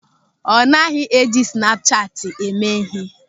Ọ naghị eji snapu chati eme ịhe.